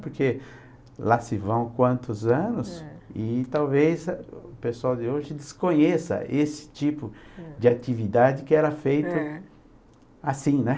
Porque lá se vão quantos anos e talvez o pessoal de hoje desconheça esse tipo de atividade que era feita assim, né?